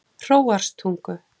Hróarstungu